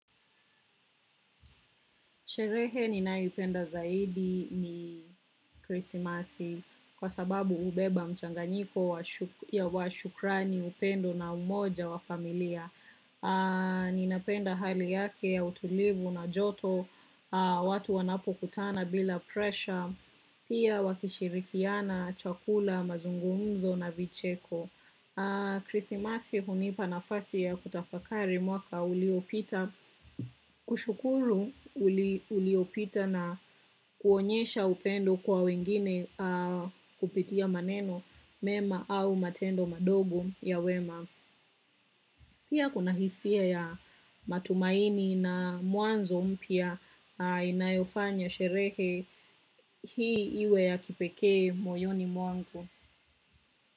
Sherehe ni naipenda zaidi ni Krisimasi kwa sababu ubeba mchanganyiko ya wa shukrani upendo na umoja wa familia. Ninapenda hali yake ya utulivu na joto, watu wanapo kutana bila presha, pia wakishirikiana, chakula, mazungumzo na vicheko. Krissi Masi hunipa nafasi ya kutafakari mwaka uliopita. Kwa kushukuru uliopita na kuonyesha upendo kwa wengine kupitia maneno mema au matendo madogo ya wema. Pia kuna hisia ya matumaini na muanzo mpya inayofanya sherehe hii iwe ya kipeke moyoni mwangu.